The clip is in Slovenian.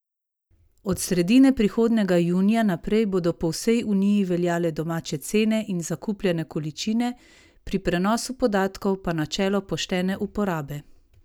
Od sredine prihodnjega junija naprej bodo po vsej Uniji veljale domače cene in zakupljene količine, pri prenosu podatkov pa načelo poštene uporabe!